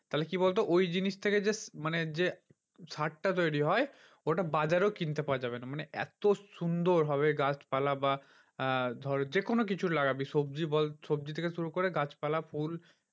তাহলে কি বলতো ওই জিনিস থেকে যে মানে যে সারটা তৈরী হয় ওইটা বাজারেও কিনতে পাওয়া যাবে না। মানে এত সুন্দর হবে গাছপালা বা আহ ধর যেকোনো কিছু লাগাবি সবজি বল সবজি থেকে শুরু করে গাছপালা ফুল